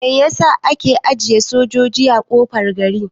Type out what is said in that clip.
Mai yasa ake ajiye sojoji a kofar gari?